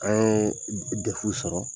An ye defu sɔrɔ